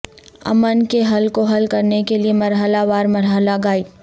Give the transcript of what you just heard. امن کے حل کو حل کرنے کے لئے مرحلہ وار مرحلہ گائیڈ